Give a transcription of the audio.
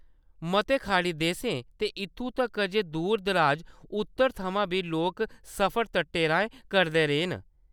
मते खाड़ी देसें ते इत्थूं तक्कर ​​जे दूर-दराज उत्तर थमां बी लोक सफर तटें राहें करदे रेह् न।